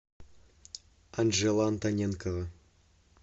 анжела антоненкова